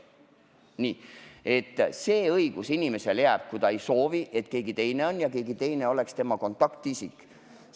Õigus oma andmed salastada inimesele jääb, kui ta ei soovi, et keegi teine oleks tema kontaktisik.